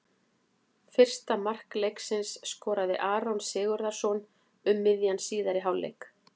Fyrsta mark leiksins skoraði Aron Sigurðarson um miðjan síðari hálfleik.